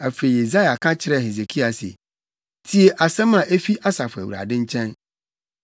Afei Yesaia ka kyerɛɛ Hesekia se, “Tie asɛm a efi Asafo Awurade nkyɛn: